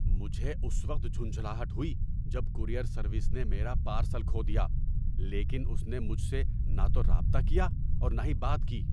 مجھے اس وقت جھنجھلاہٹ ہوئی جب کورئیر سروس نے میرا پارسل کھو دیا لیکن اس نے مجھ سے نہ تو رابطہ کیا اور نہ ہی بات کی۔